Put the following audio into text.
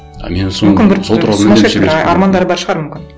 а мен соны армандары бар шығар мүмкін